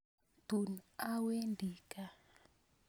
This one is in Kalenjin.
Tun awendi kaa